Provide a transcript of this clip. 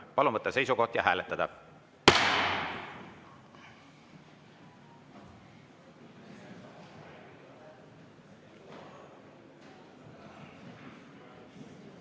Palun võtta seisukoht ja hääletada!